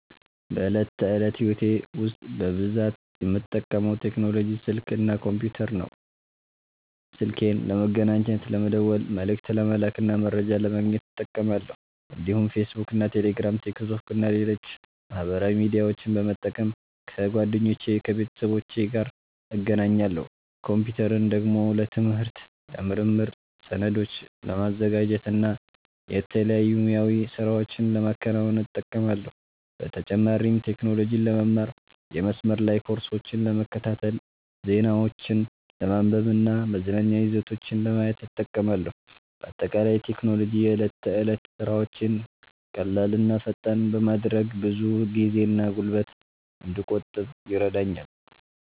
በዕለት ተዕለት ሕይወቴ ውስጥ በብዛት የምጠቀመው ቴክኖሎጂ ስልክ እና ኮምፒተር ነው። ስልኬን ለመገናኘት፣ ለመደወል፣ መልዕክት ለመላክ እና መረጃ ለማግኘት እጠቀማለሁ። እንዲሁም ፌስቡክ፣ ቴሌግራም፣ ቲክቶክ እና ሌሎች ማህበራዊ ሚዲያዎችን በመጠቀም ከጓደኞቼና ከቤተሰቦቼ ጋር እገናኛለሁ። ኮምፒተርን ደግሞ ለትምህርት፣ ለምርምር፣ ሰነዶችን ለማዘጋጀት እና የተለያዩ ሙያዊ ሥራዎችን ለማከናወን እጠቀማለሁ። በተጨማሪም ቴክኖሎጂን ለመማር፣ የመስመር ላይ ኮርሶችን ለመከታተል፣ ዜናዎችን ለማንበብ እና መዝናኛ ይዘቶችን ለማየት እጠቀማለሁ። በአጠቃላይ ቴክኖሎጂ የዕለት ተዕለት ሥራዎቼን ቀላል እና ፈጣን በማድረግ ብዙ ጊዜና ጉልበት እንድቆጥብ ይረዳኛል።